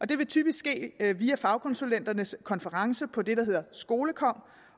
det vil typisk ske via via fagkonsulenternes konference på det der hedder skolekom